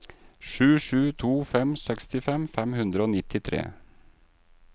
sju sju to fem sekstifem fem hundre og nittitre